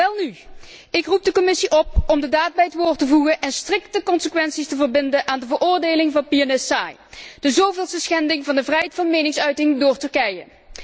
Welnu, ik roep de Commissie op om de daad bij het woord te voegen en strikte consequenties te verbinden aan de veroordeling van pianist Say, de zoveelste schending van de vrijheid van meningsuiting door Turkije.